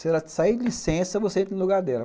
Se ela te sair de licença, você entra no lugar dela.